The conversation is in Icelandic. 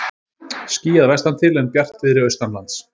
Skýjað vestantil en bjartviðri austanlands